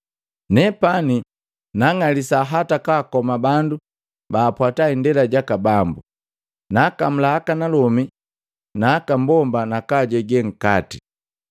Nepani naang'alisa hata kwaakoma bandu baapwata Indela jaka Bambu. Naakamula akanalomi na aka mbomba na kwaajege nkati.